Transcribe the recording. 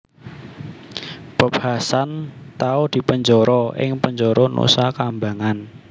Bob Hasan tau dipenjara ing penjara Nusakambangan